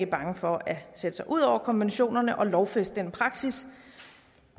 for at sætte sig ud over konventionerne og lovfæste en praksis